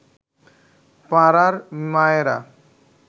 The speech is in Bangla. পাড়ার মায়েরা